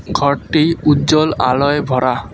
ঘরটি উজ্বল আলোয় ভরা।